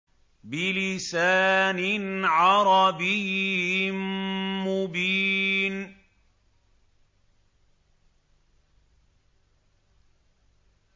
بِلِسَانٍ عَرَبِيٍّ مُّبِينٍ